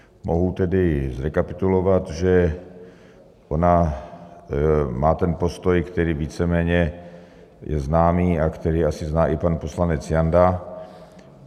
Mohu tedy zrekapitulovat, že ona má ten postoj, který víceméně je známý a který asi zná i pan poslanec Janda.